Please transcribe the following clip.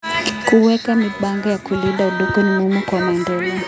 Kuweka mipango ya kulinda udongo ni muhimu kwa maendeleo.